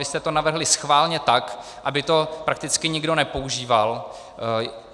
Vy jste to navrhli schválně tak, aby to prakticky nikdo nepoužíval.